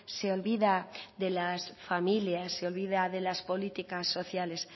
se olvida de las familias se olvida de las políticas sociales